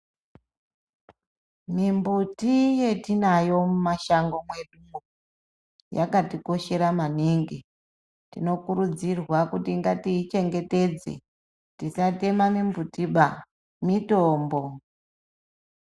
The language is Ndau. Mimbuti yetinayo mumashango medu mwo, yakatikoshera maningi. Tinokurudzirwa kuti ngatiyichengetedze, tisatema mimbuti ba, mitombo.